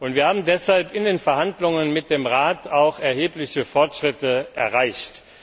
Wir haben deshalb in den Verhandlungen mit dem Rat auch erhebliche Fortschritte erreicht.